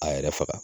A yɛrɛ faga